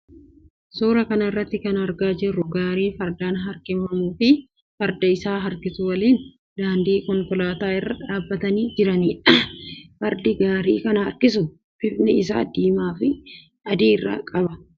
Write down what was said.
Suuraa kana irratti kana agarru gaarii fardaan harkifamuu fi farda isa harkisu waliin daandii konkolaataa irra dhaabbatanii jiranidha. Fardi gaarii kana harkisu bifni isaa diimaa fi adii of irraa qaba.